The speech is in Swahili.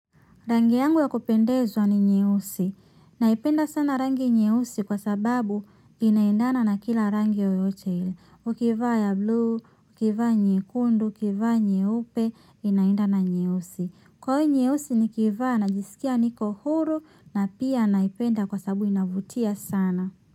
Rangi yangu ya kupendeza ni nyeusi. Naipenda sana rangi nyeusi kwa sababu inaendana na kila rangi yoyote ile ukivaa ya blue, ukivaa nyekundu, ukivaa nyeupe inaendana na nyeusi kwa hiyo nyeusi nikiivaa ninajisikia niko huru na pia naipenda kwa sababu inavutia sana.